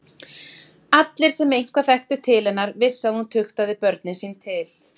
Allir, sem eitthvað þekktu til hennar, vissu að hún tuktaði börnin sín til.